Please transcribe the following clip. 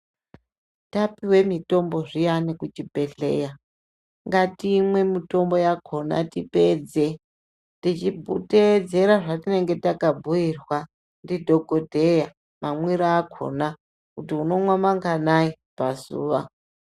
Tapuwe mitombo zviyani kuchibhedhleya ngatimwe mitombo yakona tipedze tichiteedzera zvatinenge takabhuirwa ndidhokodheya mamwiro akona kuti unomwa manganai pazuva.